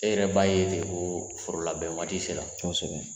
E yɛrɛ b'a ye de ko foro labɛn waati sera kosɛbɛ